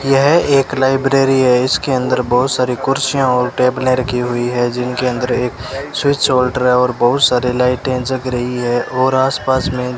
यह एक लाइब्रेरी है इसके अंदर बहुत सारी कुर्सियां और टेबलें रखी हुईं है जिनके अंदर एक स्विच होल्डर है और बहुत सारी लाइटें जग रही है और आसपास में --